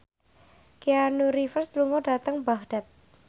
Keanu Reeves lunga dhateng Baghdad